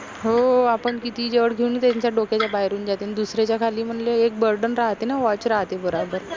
हो आपन कितीही जवड घेऊन त्यांच्या डोक्याच्या बाहेरून जाते दुसऱ्याच्या खाली म्हनलं एक burden राहाते न watch राहते बराबर